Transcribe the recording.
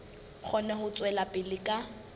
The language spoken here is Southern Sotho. kgone ho tswela pele ka